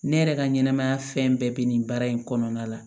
Ne yɛrɛ ka ɲɛnɛmaya fɛn bɛɛ bɛ nin baara in kɔnɔna la